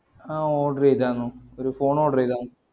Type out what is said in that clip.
ആ order യ്തെന്നു ഒരു phone order യ്തെന്നു